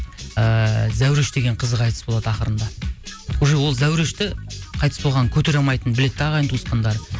ііі зәуреш деген қызы қайтыс болады ақырында уже ол зәурешті қайтыс болғанын көтере алмайтынын біледі де ағайын туысқандары